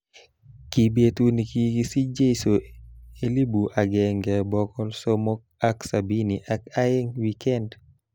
Kii betut nekikisich Jeso elibu agenge boko sokol ak sabin ak aeng wikend